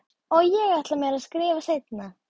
Og ég ætla mér að skrifa seinna.